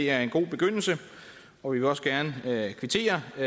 er en god begyndelse og vi vil også gerne kvittere for